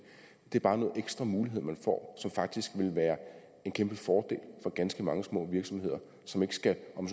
er bare en ekstra mulighed man får som faktisk vil være en kæmpe fordel for ganske mange små virksomheder som ikke skal om